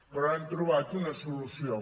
però han trobat una solució